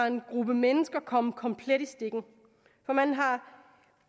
en gruppe mennesker komplet i stikken for man har